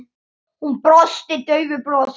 Hún brosti daufu brosi.